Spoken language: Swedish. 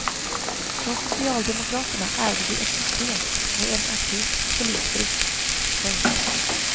Från socialdemokraterna ärvde vi ett system med en akut polisbrist. punkt